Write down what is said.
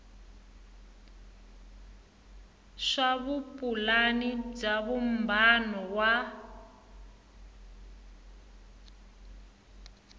swa vupulani bya vumbano wa